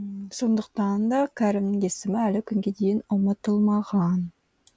сондықтан да кәрімнің есімі әлі күнге дейін ұмытылмаған